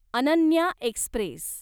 Ananya Express